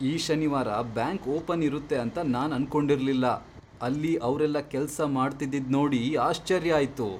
ಈ ಶನಿವಾರ bank open ಇರುತ್ತೆ ಅಂತ ನಾನ್ ಅನ್ಕೊಂಡಿರ್ಲಿಲ್ಲ, ಅಲ್ಲಿ ಅವ್ರೆಲ್ಲ ಕೆಲ್ಸ ಮಾಡ್ತಿದ್ದಿದ್ನೋಡಿ ಆಶ್ಚರ್ಯ ಆಯ್ತು.